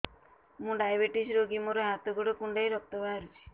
ମୁ ଡାଏବେଟିସ ରୋଗୀ ମୋର ହାତ ଗୋଡ଼ କୁଣ୍ଡାଇ ରକ୍ତ ବାହାରୁଚି